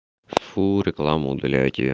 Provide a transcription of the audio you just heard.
фу рекламу удаляйте